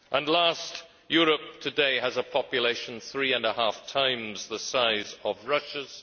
Lastly, Europe today has a population three and a half times the size of Russia's.